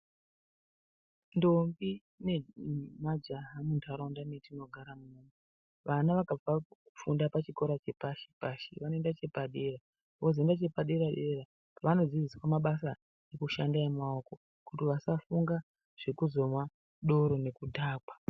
Ndombi ne majaha mu ndaraunda metino gara muno vana vakabva ku funda pa chikora che pashi pashi vano enda chepa dera vozo enda chepa dera dera vano dzidziswa mabasa eku shandisa emaoko kuti vasa funga zveku zomwa doro ne kudhakwa.